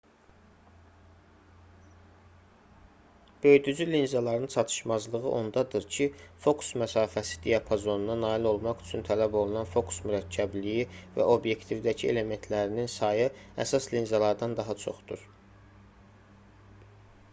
böyüdücü linzaların çatışmazlığı ondadır ki fokus məsafəsi diapazonuna nail olmaq üçün tələb olunan fokus mürəkkəbliyi və obyektivdəki elementlərinin sayı əsas linzalardan daha çoxdur